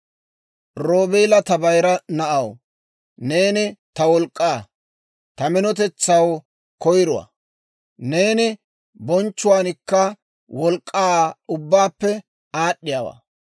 «Roobeelaa, ta bayira na'aw, neeni ta wolk'k'aa; ta minotetsaw koyruwaa. Neeni bonchchuwaankka wolk'k'ankka ubbaappe aad'd'iyaawaa.